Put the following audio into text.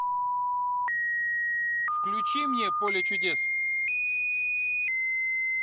включи мне поле чудес